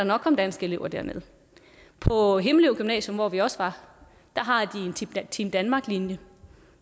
nok komme danske elever derned på himmelev gymnasium hvor vi også var har de en team danmark linje